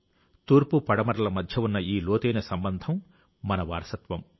తూర్పు పడమరల మధ్య ఉన్న ఈ లోతైన సంబంధం మన వారసత్వం